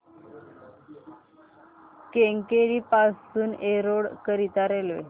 केंगेरी पासून एरोड करीता रेल्वे